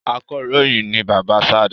Akọròyìn ni bàbá sade